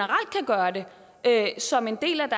gøre det som en del af